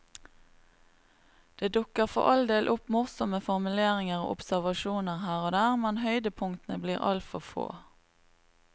Det dukker for all del opp morsomme formuleringer og observasjoner her og der, men høydepunktene blir altfor få.